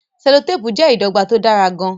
selotepu jẹ́ ìdọ́gba tó dára gan-an.